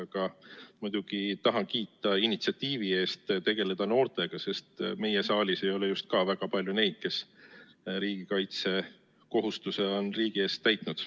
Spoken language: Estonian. Aga muidugi tahan kiita initsiatiivi eest tegeleda noortega, sest ka meie saalis ei ole just väga palju neid, kes riigikaitsekohustuse on riigi ees täitnud.